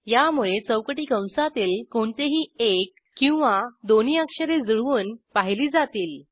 यामुळे चौकटी कंसातील कोणतेही एक किंवा दोन्ही अक्षरे जुळवून पाहिली जातील